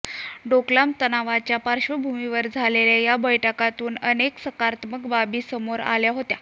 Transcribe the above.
डोकलाम तणावाच्या पार्श्वभूमीवर झालेल्या या बैठकीतून अनेक सकारात्मक बाबी समोर आल्या होत्या